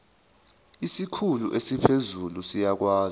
isikhulu esiphezulu siyakwazi